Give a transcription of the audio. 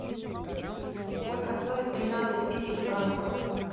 сколько стоит тринадцать тысяч франков